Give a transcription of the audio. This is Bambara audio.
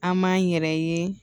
An m'an yɛrɛ ye